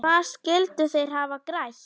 Hvað skyldu þeir hafa grætt?